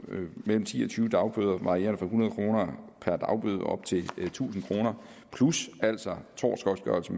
mellem ti og tyve dagbøder varierende fra hundrede kroner per dagbøde op til tusind kroner plus altså tortgodtgørelse